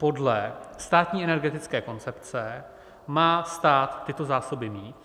Podle státní energetické koncepce má stát tyto zásoby mít.